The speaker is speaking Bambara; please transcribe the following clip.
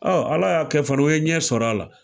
Ala y'a kɛ fana o ye ɲɛ sɔr'a la.